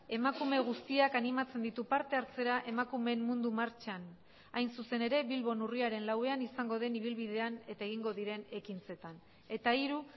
emakume guztiak animatzen ditu partehartzera emakumeen mundu martxan hain zuzen ere bilbon urriaren lauan izango den ibilbidean eta egingo diren ekintzetan eta hiru